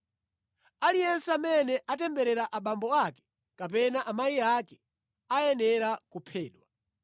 “Aliyense amene atemberera abambo ake kapena amayi ake ayenera kuphedwa.